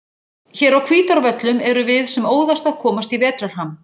Hér á Hvítárvöllum erum við sem óðast að komast í vetrarham.